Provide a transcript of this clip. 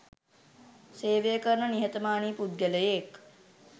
සේවය කරන නිහතමානී පුද්ගලයෙක්.